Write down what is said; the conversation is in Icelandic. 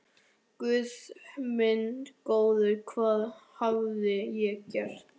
Guð minn góður, hvað hafði ég gert?